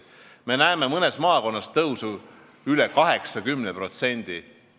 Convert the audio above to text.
Me näeme mõnes maakonnas tõusu üle 80%.